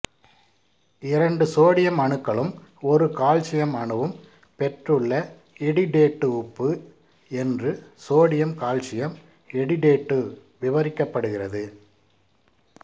இரண்டு சோடியம் அணுக்களும் ஒரு கால்சியம் அணுவும் பெற்றுள்ள எடிடேட்டு உப்பு என்று சோடியம் கால்சியம் எடிடேட்டு விவரிக்கப்படுகிறது